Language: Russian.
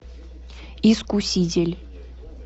искуситель